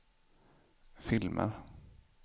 filmer